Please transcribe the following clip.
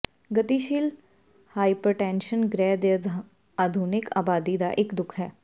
ਗਤੀਸ਼ੀਲ ਹਾਈਪਰਟੈਨਸ਼ਨ ਗ੍ਰਹਿ ਦੀ ਆਧੁਨਿਕ ਆਬਾਦੀ ਦਾ ਇੱਕ ਦੁਖ ਹੈ